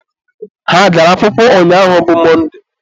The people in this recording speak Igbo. ha agara akwụkwọ ụnyaahụ bụ Mọnde?